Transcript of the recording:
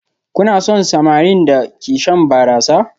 Kuna son samarin da ke shan barasa?